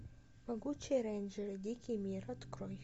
могучие рейнджеры дикий мир открой